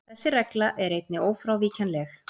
Þessi regla er einnig ófrávíkjanleg.